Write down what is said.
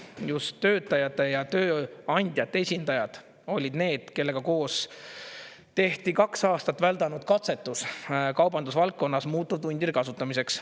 Just töötajate ja tööandjate esindajad olid need, kellega koos tehti kaks aastat väldanud katsetus kaubandusvaldkonnas muutuvtundide kasutamiseks.